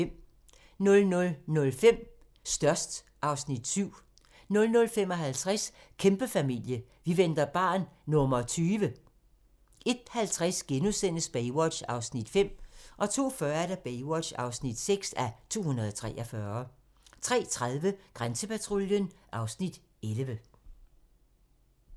00:05: Størst (Afs. 7) 00:55: Kæmpefamilie - vi venter barn nr. 20! 01:50: Baywatch (5:243)* 02:40: Baywatch (6:243) 03:30: Grænsepatruljen (Afs. 11)